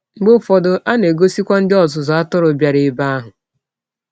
Mgbe ụfọdụ, a na - egọsikwa ndị ọzụzụ atụrụ bịara n’ebe ahụ.